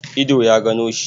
Ido ya gano shi.